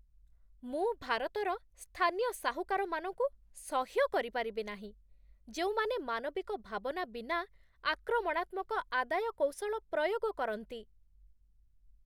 ମୁଁ ଭାରତର ସ୍ଥାନୀୟ ସାହୁକାରମାନଙ୍କୁ ସହ୍ୟ କରିପାରିବି ନାହିଁ, ଯେଉଁମାନେ ମାନବିକ ଭାବନା ବିନା ଆକ୍ରମଣାତ୍ମକ ଆଦାୟ କୌଶଳ ପ୍ରୟୋଗ କରନ୍ତି